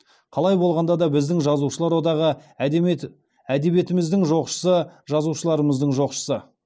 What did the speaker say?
қалай болғанда да біздің жазушылар одағы әдебиетіміздің жоқшысы жазушыларымыздың жоқшысы